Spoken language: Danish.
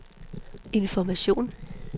information